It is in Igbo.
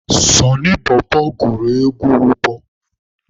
Sọnị bọbọ gụrụ egwu ụbọ